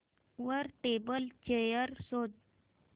वर table chair शोध